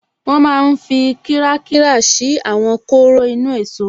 Wọ́n máa n fi kírákírà ṣí àwọn kóró inú-èsó